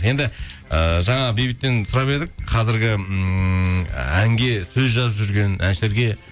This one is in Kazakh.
енді ыыы жаңа бейбіттен сұрап едік қазіргі ммм әнге сөз жазып жүрген әншілерге